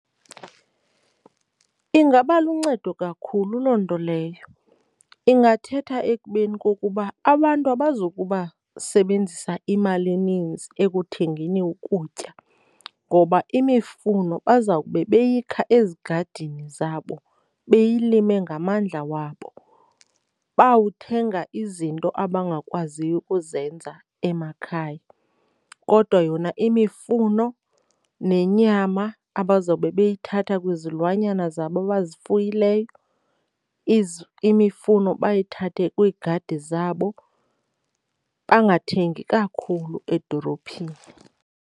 Ingaba luncedo kakhulu loo nto leyo. Ingathetha ekubeni kokuba abantu abazokuba sebenzisa imali eninzi ekuthengeni ukutya ngoba imifuno bazawube beyikha ezigadini zabo, beyilime ngamandla wabo. Bawuthenga izinto abangakwaziyo ukuzenza emakhaya kodwa yona imifuno nenyama abazawube bayithatha kwizilwanyana zabo abazifuyileyo imifuno bayithathe kwiigadi zabo bangathengi kakhulu edolophini.